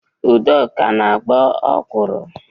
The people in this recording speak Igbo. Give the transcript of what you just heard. Udoka na-agbọ ọkwuru.